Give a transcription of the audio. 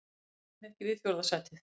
Ég sætti mig ekki við fjórða sætið.